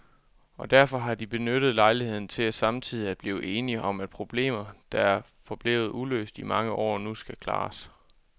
Og derfor har de benyttet lejligheden til samtidig at blive enige om, at problemer, der er forblevet uløst i mange år, nu skal klares.